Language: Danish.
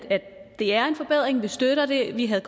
det er en forbedring vi støtter det vi havde